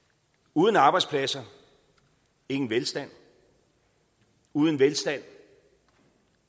uden arbejdspladser ingen velstand uden velstand